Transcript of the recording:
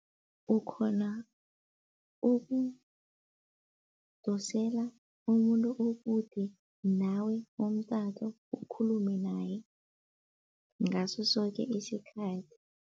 Ukhona ukudosela umuntu okude nawe umtato ukhulume naye ngaso soke isikhathi.